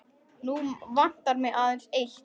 Nú vantar mig aðeins eitt!